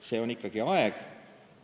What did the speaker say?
See on ikkagi aeg.